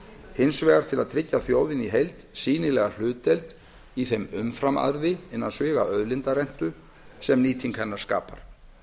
hins vegar til að tryggja þjóðinni í heild sýnilega hlutdeild í þeim umframarði sem nýting hennar skapar